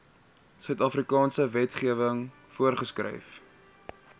suidafrikaanse wetgewing voorgeskryf